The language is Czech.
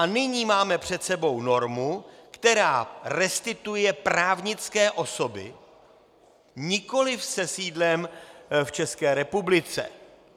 A nyní máme před sebou normu, která restituuje právnické osoby nikoli se sídlem v České republice.